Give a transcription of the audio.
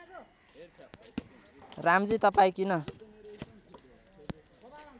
रामजी तपाईँ किन